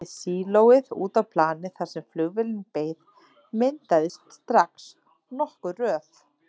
Við sílóið út á planið, þar sem flugvélin beið, myndaðist strax nokkur röð.